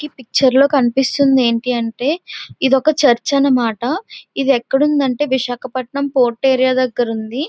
ఈ పిక్చర్ లో కనిపిస్తుంది ఏంటి అంటే ఇదొక చర్చ్ అన్నమాట. ఇది ఎక్కడుంది అంటే విశాఖపట్నం పోర్ట్ ఏరియా దగ్గర ఉంది.